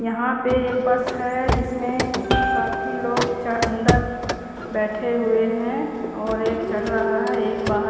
यहां पे एक बस है जिसमें काफी लोग च अंदर बैठे हुए हैं और एक चढ़ रहा है एक बाहर--